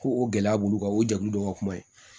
Ko o gɛlɛya b'olu kan o jɛkulu dɔ ka kuma ye